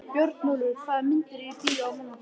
Björnólfur, hvaða myndir eru í bíó á mánudaginn?